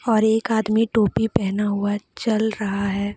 और एक आदमी टोपी पहना हुआ चल रहा है।